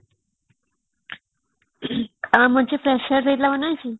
ଗାଁ ମଝି ପ୍ରସାଦ ଦେଇଥିଲା ମନେଅଛି